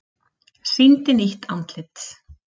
Sýndi nýtt andlit